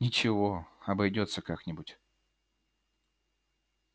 ничего обойдётся как нибудь